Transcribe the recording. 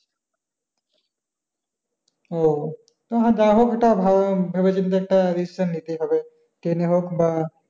ও তো যা হোক এটা ভালো ভেবে চিনতে একটা decision নিতে হবে train এ হোক বা,